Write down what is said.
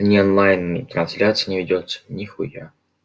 онлайн-трансляция ведётся нехуя